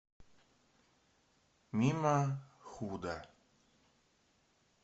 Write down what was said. мимо худа